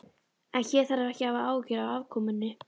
En hér þarf ekki að hafa áhyggjur af afkomunni.